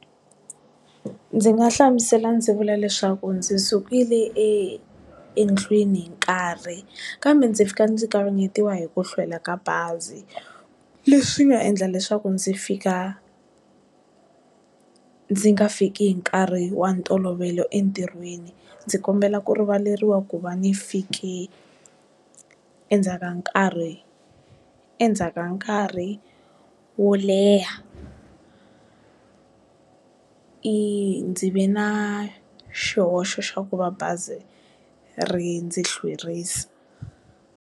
Ndzi nga hlamusela ndzi vula leswaku ndzi sukile e endlwini hi nkarhi kambe ndzi fika ndzi kavanyetiwa hi ku hlwela ka bazi leswi nga endla leswaku ndzi fika ndzi nga fiki hi nkarhi wa ntolovelo entirhweni ndzi kombela ku rivaleriwa ku va ni fike endzhaka nkarhi endzhaka nkarhi wo leha i ndzi ve na xihoxo xa ku va bazi ri ndzi hlwerisa.